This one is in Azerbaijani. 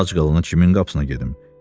Ac qalan kimin qapısına gedim?